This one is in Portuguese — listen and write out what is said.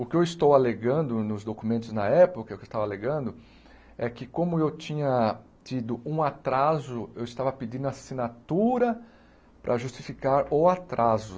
O que eu estou alegando nos documentos na época, o que eu estava alegando, é que como eu tinha tido um atraso, eu estava pedindo assinatura para justificar o atraso.